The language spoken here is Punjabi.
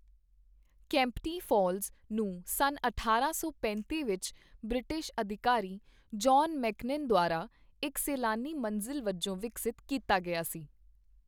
ਕੈਂਪਟੀ ਫਾਲਜ਼ ਨੂੰ ਸੰਨ ਅਠਾਰਾਂ ਸੌ ਪੈਂਤੀ ਵਿੱਚ ਬ੍ਰਿਟਿਸ਼ ਅਧਿਕਾਰੀ ਜੌਹਨ ਮੇਕੀਨਨ ਦੁਆਰਾ ਇੱਕ ਸੈਲਾਨੀ ਮੰਜ਼ਿਲ ਵਜੋਂ ਵਿਕਸਤ ਕੀਤਾ ਗਿਆ ਸੀ।